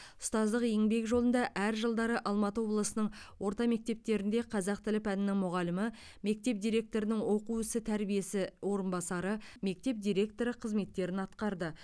ұстаздық еңбек жолында әр жылдары алматы облысының орта мектептерінде қазақ тілі пәнінің мұғалімі мектеп директорының оқу ісі тәрбиесі орынбасары мектеп директоры қызметтерін атқарды